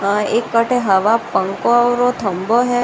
आ एक आटे हवा पंखों आवरों थम्भा है।